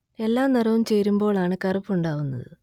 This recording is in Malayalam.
എല്ലാ നിറവും ചേരുമ്പോൾ ആണ് കറുപ്പ് ഉണ്ടാവുന്നത്